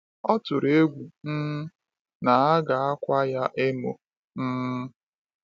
Ọ tụrụ egwu um na a ga-akwa ya emo. um